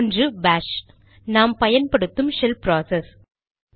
ஒன்று பாஷ் நாம் பயன்படுத்தும் ஷெல் ப்ராசஸ்